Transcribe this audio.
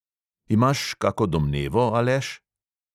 Imaš kako domnevo, aleš?